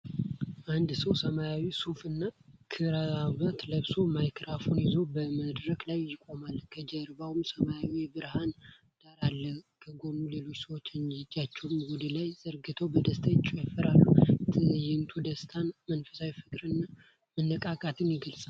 አንድ ሰው ሰማያዊ ሱፍ እና ክራቫት ለብሶ ማይክራፎን ይዞ በመድረክ ላይ ይቆማል። ከጀርባው ሰማያዊ የብርሃን ዳራ አለ። ከጎኑ ሌሎች ሰዎች እጃቸውን ወደ ላይ ዘርግተው በደስታ ይጨፍራሉ። ትዕይንቱ ደስታን፣ መንፈሳዊ ፍቅርን እና መነቃቃትን ይገልፃል።